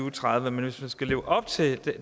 og tredive men hvis man skal leve op til